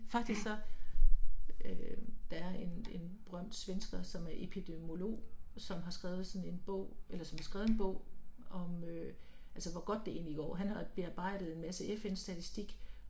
Faktisk så, øh der er en en berømt svensker som er epidemiologi som har skrevet sådan en bog eller som har skrevet en bog om øh altså hvor godt det egentlig går, han har bearbejdet en masse FN-statisik